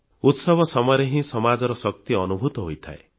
ଉତ୍ସବ ସମୟରେ ହିଁ ସମାଜର ଶକ୍ତି ଅନୁଭୂତ ହୋଇଥାଏ